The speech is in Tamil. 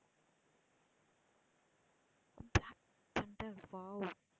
block thunder wow